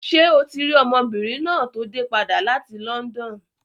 Ṣé o ti rí ọmọbìnrin náà tó dé padà láti London?